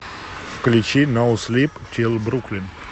включи ноу слип тил бруклин